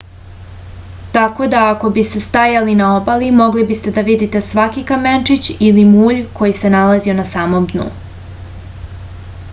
tako da ako biste stajali na obali mogli biste da vidite svaki kamenčić ili mulj koji se nalazio na samom dnu